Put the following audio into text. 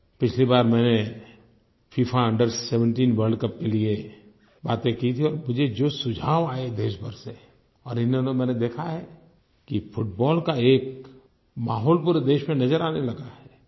पिछली बार मैंने फिफा Under17 वर्ल्ड कप के लिए बातें की थी और मुझे जो सुझाव आये देश भर से और इन दिनों मैंने देखा है कि फुटबॉल का एक माहौल पूरे देश में नज़र आने लगा है